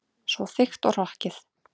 Svo þykkt og hrokkið.